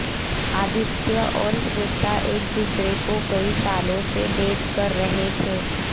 आदित्य और श्वेता एक दूसरे को कई सालों से डेट कर रहे थे